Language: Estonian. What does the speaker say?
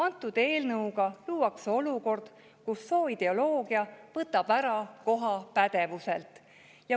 Selle eelnõuga luuakse olukord, kus sooideoloogia võtab koha ära pädevuselt.